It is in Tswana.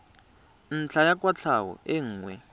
ntlha ya kwatlhao e nngwe